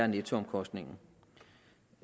nettoomkostningen